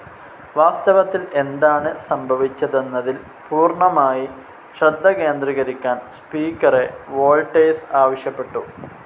വാസ്തവത്തിൽ എന്താണ് സംഭവിച്ചതെന്നതിൽ പൂർണമായി ശ്രദ്ധ കേന്ദ്രീകരിക്കാൻ സ്പീക്കറെ വോൾട്ടേഴ്സ് ആവശ്യപ്പെട്ടു.